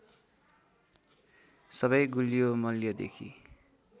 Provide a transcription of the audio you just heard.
सबै गुलियो मल्यदेखि